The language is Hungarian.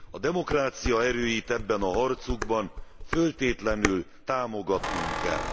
A demokrácia erőit ebben a harcukban föltétlenül támogatnunk kell.